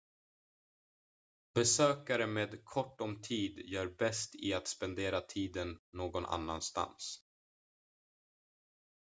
besökare med kort om tid gör bäst i att spendera tiden någon annan stans